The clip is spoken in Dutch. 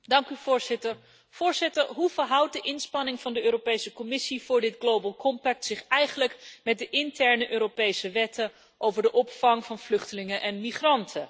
Voorzitter, hoe verhoudt de inspanning van de Europese Commissie voor dit mondiaal pact zich eigenlijk met de interne Europese wetten over de opvang van vluchtelingen en migranten?